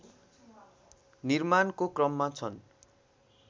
निर्माणको क्रममा छन्